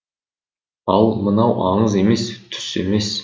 ал мынау аңыз емес түс емес